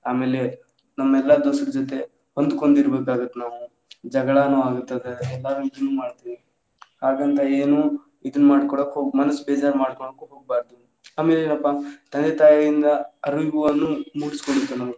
ಆಮೇಲೆ ನಮ್ಮೆಲ್ಲಾ ದೋಸ್ತರ ಜೊತೆ ಹೊಂದ್ಕೊಂಡ್ ಇರಬೇಕ್ ಆಗುತ್ತ್ ನಾವು ಜಗಳಾನು ಆಗ್ತಾದ ಎಲ್ಲಾ ರೀತಿ ಇಂದಾನು ಮಾಡ್ತೀವಿ ಹಾಗಂತ ಏನು ಇದು ಮಾಡ್ಕೊಳಕ್~ ಮನಸ್ ಬೇಜಾರ್ ಮಾಡ್ಕೊಳಾಕ್ ಹೋಗಬಾರ್ದು ಆಮೇಲೆ ಏನಪ್ಪಾ ತಂದೆ ತಾಯಿಯಿಂದ ಮುಗಿಸ್ಬಿಡ್ಬೇಕ್ .